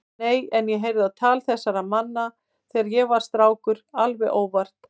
Nei, en ég heyrði á tal þessara manna þegar ég var strákur alveg óvart.